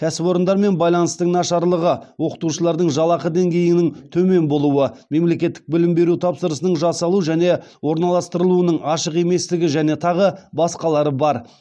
кәсіпорындармен байланыстың нашарлығы оқытушылардың жалақы деңгейінің төмен болуы мемлекеттік білім беру тапсырысының жасалу және орналастырылуының ашық еместігі және тағы басқалары бар